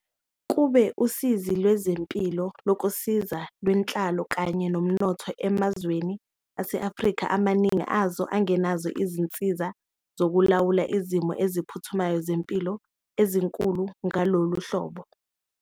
Kube usizi lwezempilo, lokusiza, lwenhlalo kanye nomnotho emazweni ase-Afrika, amaningi awo angenazo izinsiza zokulawula izimo eziphuthumayo zempilo ezinkulu ngalolu hlobo.